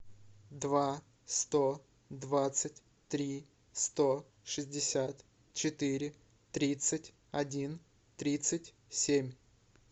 два сто двадцать три сто шестьдесят четыре тридцать один тридцать семь